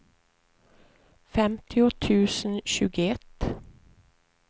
femtio tusen tjugoett